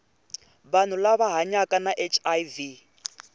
vanhu lava hanyaka na hiv